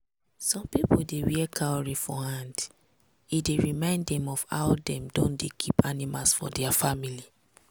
some people dey wear cowry for hand e dey remind dem of how dem don dey keep amimals for dia family.